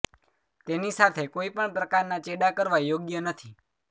તેની સાથે કોઈ પણ પ્રકારના ચેડા કરવા યોગ્ય નથી